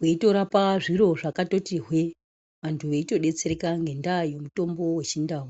weitorapa zviro zvakatoti hwee vantu veitodetsereka ngendaa yemutombo yeChindau.